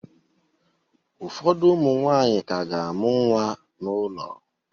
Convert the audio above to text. Ụfọdụ ụmụ nwanyị ka ga-amụ nwa n'ụlọ